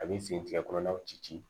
A bɛ fin tigɛ kɔnɔnaw ci ci